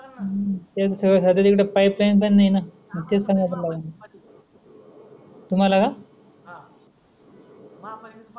मन